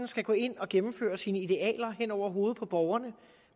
skal gå ind og gennemføre dens idealer hen over hovedet på borgerne